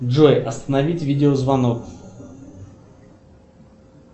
джой остановить видеозвонок